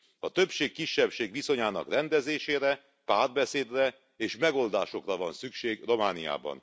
A többség kisebbség viszonyának rendezésére, párbeszédre és megoldásokra van szükség Romániában.